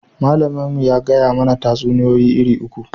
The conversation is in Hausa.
Malamin mu ya gaya mana tatsuniya iri uku